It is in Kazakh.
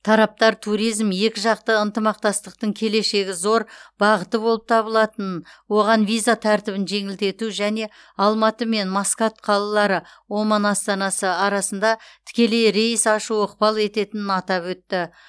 тараптар туризм екіжақты ынтымақтастықтың келешегі зор бағыты болып табылатынын оған виза тәртібін жеңілдету және алматы мен маскат қалалары оман астанасы арасында тікелей рейс ашу ықпал ететінін атап өтті